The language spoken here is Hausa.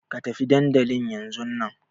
Ka tafi dandli yanzun na!